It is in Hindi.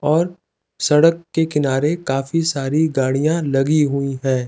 और सड़क के किनारे काफी सारी गाड़ियाँ लगी हुई हैं।